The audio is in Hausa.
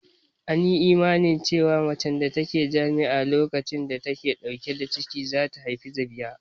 An yi imanin cewa macen da ta yi jima'i a lokacin da ta ke ɗauke da ciki za ta haifi zabiya